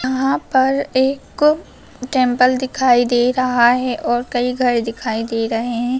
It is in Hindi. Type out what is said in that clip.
यहां पर एक टेम्पल दिखाई दे रहा है और कई घर दिखाई दे रहे हैं।